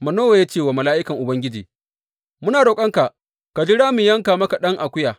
Manowa ya ce wa mala’ikan Ubangiji, Muna roƙonka ka jira mu yanka maka ɗan akuya.